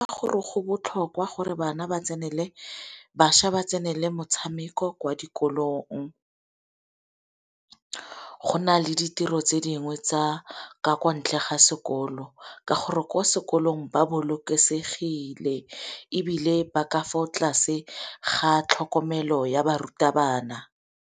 Gore go botlhokwa gore bana ba tsenele bašwa ba tsenele metshameko kwa dikolong. Go na le ditiro tse dingwe tsa ka kwa ntle ga sekolo, ka gore ko sekolong ba bolokesegile ebile ba ka fa tlase ga tlhokomelo ya barutabana.